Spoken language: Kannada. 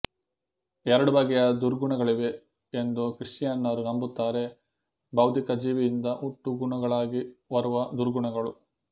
ಎರಡು ಬಗೆಯ ದುರ್ಗುಣಗಳಿವೆ ಎಂದು ಕ್ರಿಶ್ಚಿಯನ್ನರು ನಂಬುತ್ತಾರೆ ಭೌತಿಕ ಜೀವಿಯಿಂದ ಹುಟ್ಟುಗುಣಗಳಾಗಿ ಬರುವ ದುರ್ಗುಣಗಳು